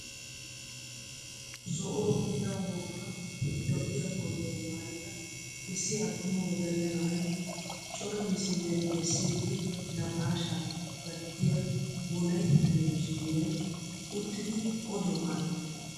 ZO'uwaawu biida woogga lo"iyaa kootiyaa maayida issi attuma wodalla na'ay cora misiliyaan bessiidi naqaashshaa gattiyaa wolaytta telebizhiniyaan uttidi oduwaa aattees!